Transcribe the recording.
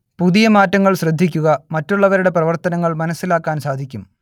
പുതിയ മാറ്റങ്ങൾ ശ്രദ്ധിക്കുക മറ്റുള്ളവരുടെ പ്രവർത്തനങ്ങൾ മനസിലാക്കാൻ സാധിക്കും